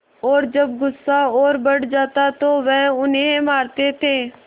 और जब गुस्सा और बढ़ जाता तो वह उन्हें मारते थे